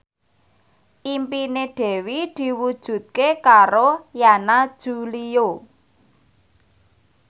impine Dewi diwujudke karo Yana Julio